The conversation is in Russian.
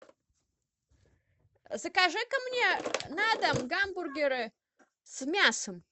закажи ка мне на дом гамбургеры с мясом